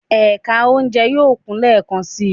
Ẹka ounjẹ yoo kun lẹẹkansi